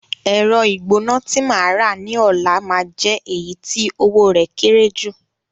Ẹ̀rọ ìgbóná tí màá rà ní ọ̀la máa jẹ́ èyí tí owó rẹ̀ kéré jù